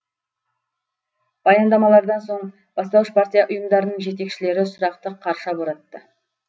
баяндамалардан соң бастауыш партия ұйымдарының жетекшілері сұрақты қарша боратты